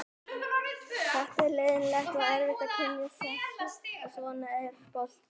Þetta var leiðinlegt og erfitt að kyngja þessu en svona er boltinn.